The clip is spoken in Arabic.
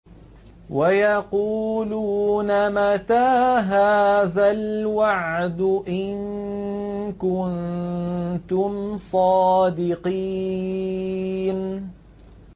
وَيَقُولُونَ مَتَىٰ هَٰذَا الْوَعْدُ إِن كُنتُمْ صَادِقِينَ